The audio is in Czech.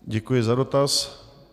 Děkuji za dotaz.